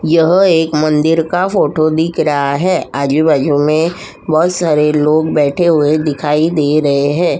यह एक मंदिर का फ़ोटो दिख रहा है। आजू - बाजू में बहोत सारे लोग बैठे हुए दिखाई दे रहे हैं।